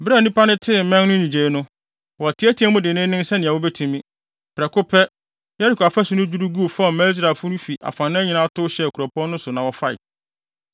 Bere a nnipa no tee mmɛn no nnyigyei no, wɔteɛteɛɛ mu denneennen sɛnea wobetumi. Prɛko pɛ Yeriko afasu no dwiriw guu fam maa Israelfo no fi afanan nyinaa tow hyɛɛ kuropɔn no so na wɔfae.